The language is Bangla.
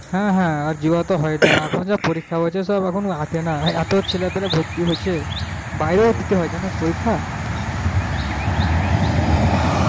হ্যাঁ হ্যাঁ আর হয়না এখন যা পরীক্ষা হয়েছে সব এখন ও এতো ছেলে পিলে ভর্তি হয়েছে বাইরেও দিতে হয় জানিস পরীক্ষা